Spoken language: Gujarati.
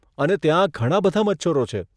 અને ત્યાં ઘણાં બધાં મચ્છરો છે.